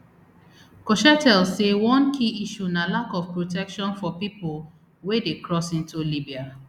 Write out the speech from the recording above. cochetel say one key issue na lack of protection for pipo wey dey cross into libya